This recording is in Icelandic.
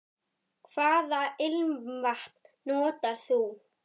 Hvaða ilmvatn notar þú?